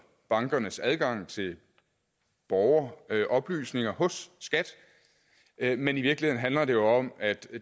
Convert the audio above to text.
bankernes adgang til borgeroplysninger hos skat men i virkeligheden handler det jo om at